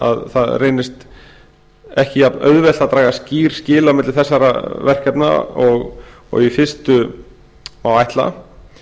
að ekki reyndist auðvelt að draga skýr skil á milli þessara verkefna og í fyrstu má ætla